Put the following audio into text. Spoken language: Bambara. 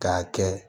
K'a kɛ